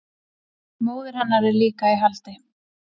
Móðir hennar er líka í haldi